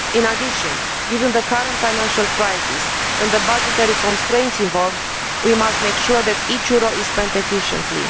In addition, given the current financial crisis and the budgetary constraints involved, we must make sure that each euro is spent efficiently.